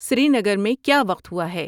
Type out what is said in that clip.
سری نگر میں کیا وقت ہوا ہے